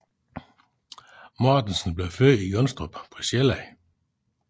Mortensen blev født i Jonstrup på Sjælland